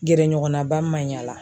Gɛrɛɲɔgɔnnaba maɲi a la